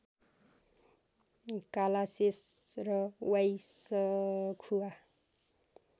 कालाशेष र वाईसखुवा